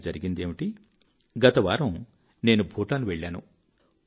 కానీ జరిగిందేమిటి గత వారం నేను భూటాన్ వెళ్ళాను